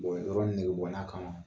yɔrɔ negebɔnna kama